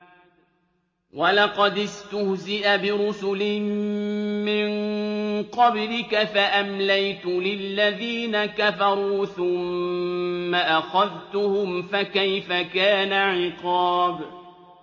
وَلَقَدِ اسْتُهْزِئَ بِرُسُلٍ مِّن قَبْلِكَ فَأَمْلَيْتُ لِلَّذِينَ كَفَرُوا ثُمَّ أَخَذْتُهُمْ ۖ فَكَيْفَ كَانَ عِقَابِ